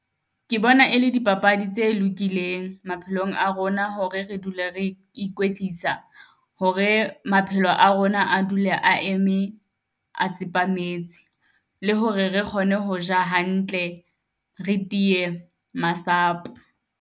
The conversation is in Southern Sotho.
Ke bona e le dipapadi tse lokileng maphelong a rona. Hore re dule re ikwetlisa hore maphelo a rona a dule a eme, a tsepametse. Le hore re kgone ho ja hantle, re tiye masapo.